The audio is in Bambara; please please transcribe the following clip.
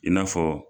I n'a fɔ